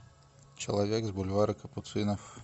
человек с бульвара капуцинов